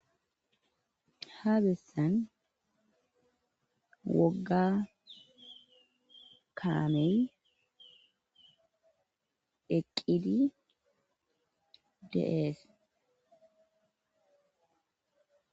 Haabissan wogga kaamen deqqidi deees.